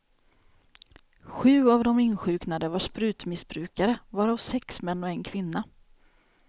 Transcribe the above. Sju av de insjuknade var sprutmissbrukare, varav sex män och en kvinna.